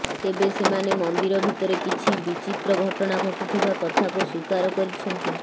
ତେବେ ସେମାନେ ମନ୍ଦିର ଭିତରେ କିଛି ବିଚିତ୍ର ଘଟଣା ଘଟୁଥିବା କଥାକୁ ସ୍ୱୀକାର କରିଛନ୍ତି